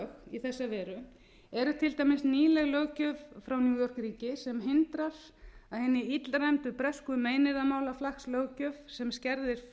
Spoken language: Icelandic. í þessa veru er til dæmis nýleg löggjöf frá new york ríki sem hindrar að hinni illræmdu bresku meiðyrðamálaflakkslöggjöf sem skerðir